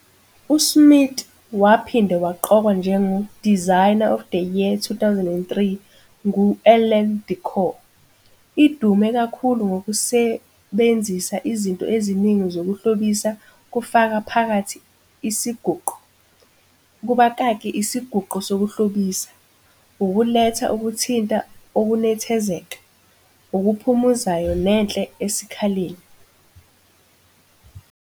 USmith waphinde waqokwa njengo "Designer of the Year 2003" ngu-Elle Decor. Idume kakhulu ngokusebenzisa izinto eziningi zokuhlobisa kufaka phakathi isiguqo, kubakaki, isiguqo sokuhlobisa ukuletha ukuthinta okunethezeka, okuphumuzayo nenhle esikhaleni.